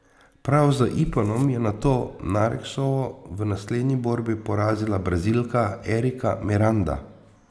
Prav z iponom je nato Nareksovo v naslednji borbi porazila Brazilka Erika Miranda.